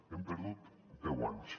hem perdut deu anys